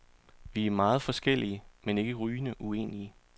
Vi er meget forskellige, men ikke rygende uenige.